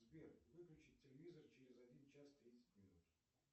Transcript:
сбер выключить телевизор через один час тридцать минут